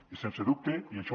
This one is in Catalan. i sense dubte i això